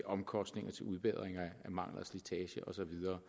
omkostninger til udbedring af mangler og slitage og så videre